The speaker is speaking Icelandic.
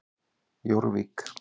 Jórvík